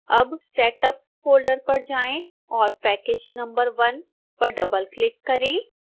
अब setup folder पर जाएं और पैकेज नंबर 1 पर डबलक्लिक करें